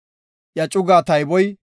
Iya cugaa tayboy 54,400.